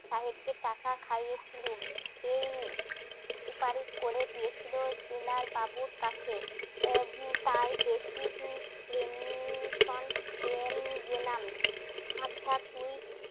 সাহেব কে টাকা খাইয়ে ছিল হুম সুপারিশ করে দিয়েছিল ডিনার বাবুর কাছে টাই তুই